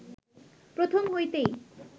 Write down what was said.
প্রথম হইতেই